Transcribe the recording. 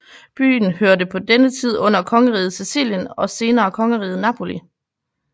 Byen hørte på denne tid under kongeriget Sicilien og senere kongeriget Napoli